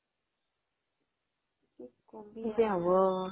কিজে হব